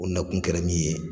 O nakun kɛra min ye